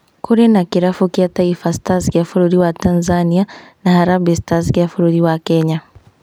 Kũrĩ na kĩrabu kĩa Taifa Stars gĩa bũrũri wa Tanzania na Harambee Stars gĩa bũrũri wa Kenya